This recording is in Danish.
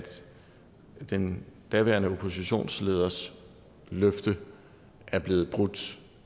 den daværende oppositionsleders løfte er blevet brudt